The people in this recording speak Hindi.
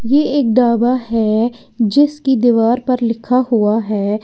ये एक ढाबा है जिस की दीवार पर लिखा हुआ है।